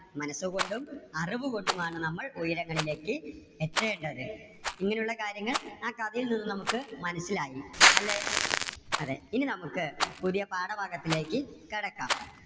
മനസ്സുകൊണ്ടും അറിവുകൊണ്ടും ആണ് നമ്മൾ ഉയരങ്ങളിലേക്ക് എത്തേണ്ടത്. ഇങ്ങനെ ഉള്ള കാര്യങ്ങൾ ആ കഥയിൽ നിന്നും നമുക്ക് മനസ്സിലായി. അല്ലേ? അതെ. ഇനി നമുക്ക് പുതിയ പാഠഭാഗത്തിലേക്ക് കടക്കാം.